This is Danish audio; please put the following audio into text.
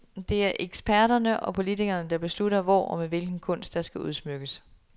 Det er eksperterne og politikerne, der beslutter hvor og med hvilken kunst, der skal udsmykkes.